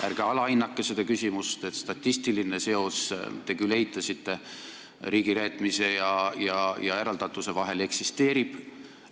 Ärge alahinnake seda küsimust, et statistiline seos – te küll eitasite – riigireetmise ja eraldatuse vahel eksisteerib.